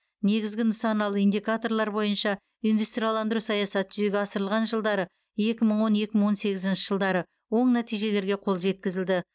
негізгі нысаналы индикаторлар бойынша индустрияландыру саясаты жүзеге асырылған жылдары екі мың он екі мың он сегізінші жылдары оң нәтижелерге қол жеткізілді